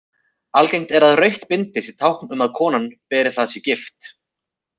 Algengt er að rautt bindi sé tákn um að konan sem beri það sé gift.